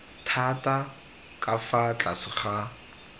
thata ka fa tlase ga